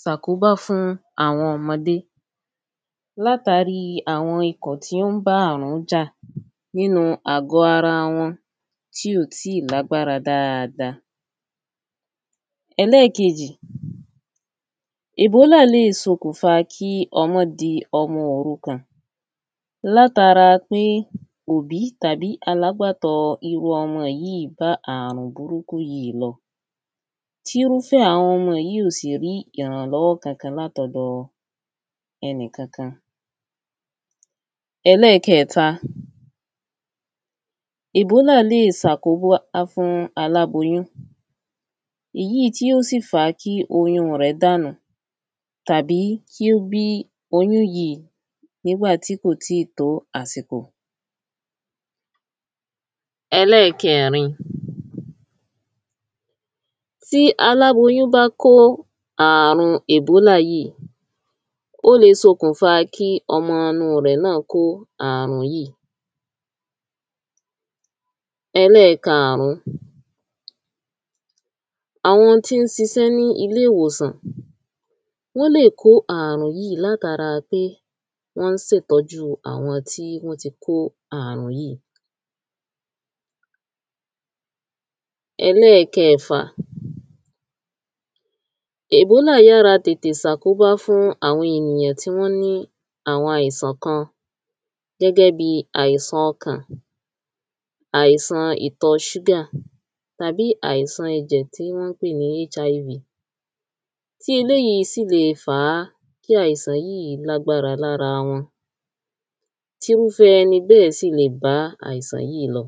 sàkóbá fún àwọn ọmọdé látàrí àwọn ikọ̀ tí ó ń bá àrún jà nínu àgọ̀ ara wọn tí ò tíì lágbára dada ẹlẹ́kejì èbólà le sokùnfa kí ọmọ di ọmọ òrukàn látara pé òbí tàbí alágbàtọ́ irú ọmọ yíì bá àrùn burúkú yí lọ tírúfẹ́ àwọn ọmọ yí ò sì rí ìrànlọ́wọ́ kankan látọdọ ẹnì kankan ẹlẹ́kẹẹ̀ta èbólà le sàkóbá fún aláboyún ìyíì̀ tí ó sì fa kí oyún rẹ̀ dànù tàbí kí ó bí oyún yí nígbà tí kò títò àsìkò ẹlẹ́kẹẹ̀rin tí aláboyún bá kó àrùn èbólà yíì ó le sokùnfa kí ọmọ nu rẹ̀ náà kó àrùn yíì ẹlẹ́karùn-ún àwọn tí ń sisẹ́ ní iléwòsàn wọ́n lè kó àrùn yíì látara pé wọ́n sè tọ́jú àwọn tí wọ́n ti kó àrùn yíì ẹlẹ́kẹ́fà èbólà yára sàkóbá fún àwọn ènìyàn tí wọ́n ní àwọn àìsàn kan gẹ́gẹ́ bi àìsàn ọkàn àìsàn ìtọ ṣúgà tàbí àìsàn tí wọn pè ni HIV tí eléyí sì le fàá kí àìsàn lágbára lára wọn tírúfẹ́ ẹni bẹ́ẹ̀ sì lè bá àìsàn yíì lọ